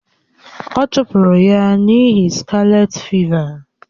A chụpụrụ ya n’ihi skalet fịva.